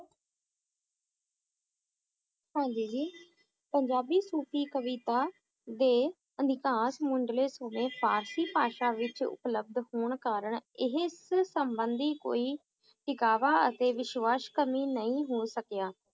ਹਾਂਜੀ ਜੀ ਪੰਜਾਬੀ ਸੂਫ਼ੀ ਕਵਿਤਾ ਦੇ ਮੁੰਡਲੇ ਸੋਮੇ ਫਾਰਸੀ ਭਾਸ਼ਾ ਵਿਚ ਉਪਲਬਧ ਹੋਣ ਕਾਰਨ ਇਸ ਸੰਬੰਧੀ ਕੋਈ ਦਿਖਾਵਾ ਅਤੇ ਵਿਸ਼ਵਾਸ ਕਰਨੀ ਨਹੀ ਹੋ ਸਕਿਆ